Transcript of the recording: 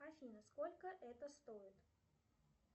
афина сколько это стоит